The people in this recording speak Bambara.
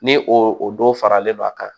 Ni o don fara len don a kan